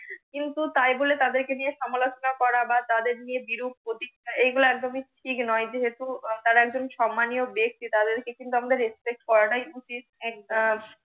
কিন্তু তাই বলে তাদের কে নিয়ে সমালোচনা করা বা তাদের নিয়ে বিরূপ এগুলা একদমই ঠিক নয় যেহেতু আহ তারা একজন সম্মানীও ব্যাক্তি তাদের কে কিন্তু আমরা respect করাটাই উচিত